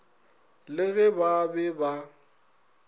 le ge ba be ba